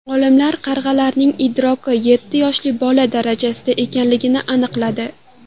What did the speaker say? Olimlar qarg‘alarning idroki yetti yoshli bola darajasida ekanligini aniqladi.